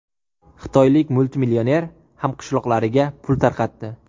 Xitoylik multimillioner hamqishloqlariga pul tarqatdi .